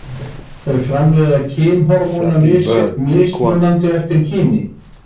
Þeir framleiða kynhormón mismunandi eftir kyni.